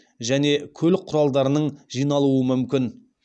және көлік құралдарының жиналуы мүмкін